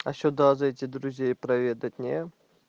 а сюда зайти друзей проведать не